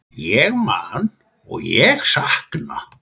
Ég man og ég sakna.